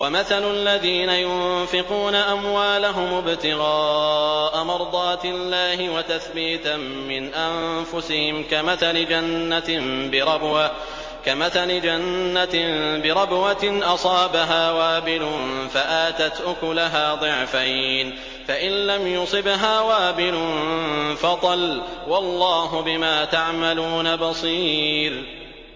وَمَثَلُ الَّذِينَ يُنفِقُونَ أَمْوَالَهُمُ ابْتِغَاءَ مَرْضَاتِ اللَّهِ وَتَثْبِيتًا مِّنْ أَنفُسِهِمْ كَمَثَلِ جَنَّةٍ بِرَبْوَةٍ أَصَابَهَا وَابِلٌ فَآتَتْ أُكُلَهَا ضِعْفَيْنِ فَإِن لَّمْ يُصِبْهَا وَابِلٌ فَطَلٌّ ۗ وَاللَّهُ بِمَا تَعْمَلُونَ بَصِيرٌ